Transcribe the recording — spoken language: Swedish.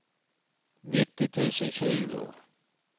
nittio tusen tjugo